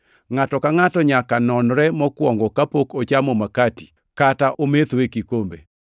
Ngʼato ka ngʼato nyaka nonre mokwongo, kapok ochamo makati kata ometho e kikombe.